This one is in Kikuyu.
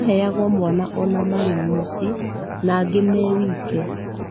Maheagwo mwana ona marĩ mũcie na angĩ me wike